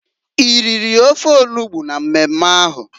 I riri ofe onugbo na mmemme ahụ?